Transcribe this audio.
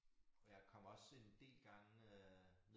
Og jeg kommer også en del gange øh